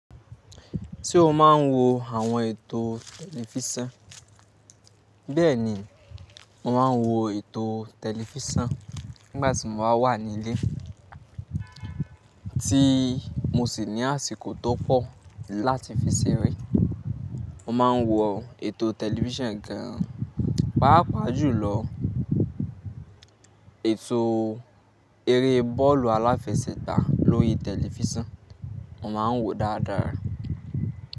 Tí ó máa ń wo àwọn ètò tẹlifísàn. Bẹ́ẹ̀ni, mo máa ń wo ètò tẹlifísàn nígbà tí mo ba wà nílé, tí mo sì ní àsìkò tó pọ̀ láti fi ṣeré. Mo máa ń wo ètò tẹlifísàn gan an. Páápàá jùlọ ètò eré bọ́ọ̀lù aláfẹsẹ̀gbá lórí tẹlifísàn, mo máa ń wò ó dáadáa.